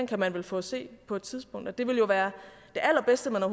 kan man vel få at se på et tidspunkt det ville jo være det allerbedste man